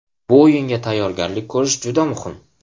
Bu o‘yinga tayyorgarlik ko‘rish juda muhim.